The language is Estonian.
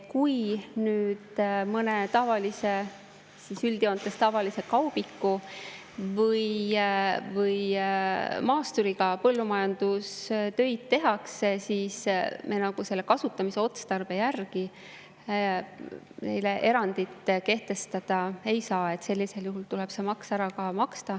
Kui nüüd mõne üldjoontes tavalise kaubiku või maasturiga põllumajandustöid tehakse, siis me selle kasutamisotstarbe järgi neile erandit kehtestada ei saa ja sellisel juhul tuleb see maks ära maksta.